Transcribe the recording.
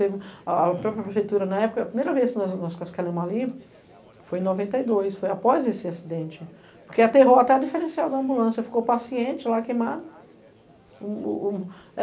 A própria prefeitura, na época, a primeira vez que nós cascalhamos ali foi em noventa e dois, foi após esse acidente, porque aterrou até a diferencial da ambulância, ficou o paciente lá queimado.